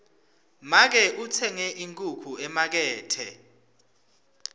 make utsenge inkhukhu emakethe